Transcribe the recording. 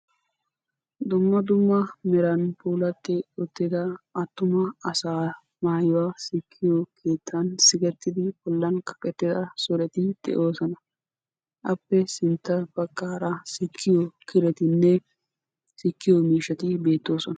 Dumma dumma heeran atuma asaa maayuwa sikkiyo sohuwan sikketti uttidda maayoy beetes. A matan sikkiyo miishshay beetes.